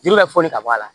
Jeli bɛ foli ka bɔ a la